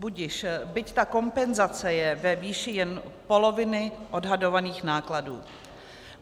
Budiž, byť ta kompenzace je ve výši jen poloviny odhadovaných nákladů.